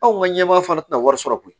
Anw ka ɲɛmaa fana tɛna wari sɔrɔ koyi